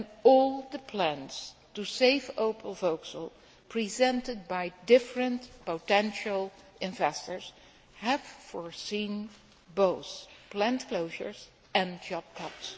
all the plans to save Opel Vauxhall presented by different potential investors have foreseen both plant closures and job cuts.